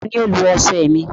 Tani o lo ọṣẹ mi?